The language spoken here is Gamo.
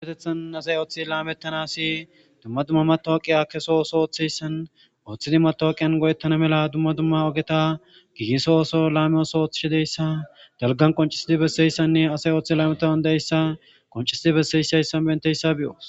apetethan asay ooththi laamettanasi dumma dumma matoaqiya keso ooso ooththeyssan ooththidi matooqiyan go7ettana mela dumma dumma ogeta gigiso ooso laame oso ooththishideyssa dalgan qoncisidi besseyssanne asay ooththie laametaan dayssa qoncisidi besseysayssan benteyssa bi7oos